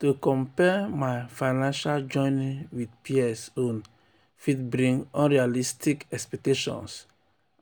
to compare my financial journey with peers own fit bring unrealistic expectations